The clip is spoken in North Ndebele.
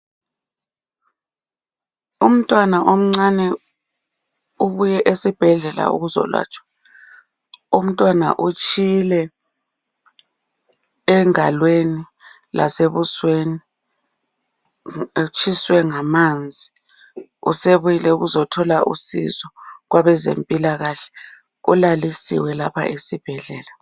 umntwana omncane ubuye esibhedlela ukuzolatshwa umntwana utshile engalweni lase busweni utshiswe ngamanzi usebuyile ukuzothola usizo kwabezempilakahle ulalisiwe lapha esibhedlela